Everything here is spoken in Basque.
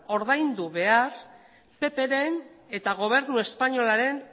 ordaindu behar ppren eta gobernu espainolaren